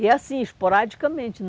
E assim, esporadicamente.